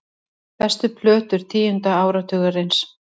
Bestu plötur tíunda áratugarins